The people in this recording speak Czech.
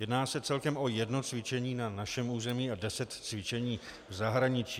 Jedná se celkem o jedno cvičení na našem území a deset cvičení v zahraničí.